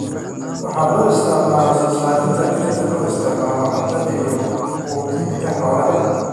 Waxaa loo isticmaalaa soo saarista dhirta loo isticmaalo cuntada iyo quudinta xoolaha.